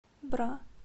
бра